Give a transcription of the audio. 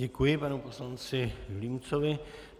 Děkuji panu poslanci Vilímcovi.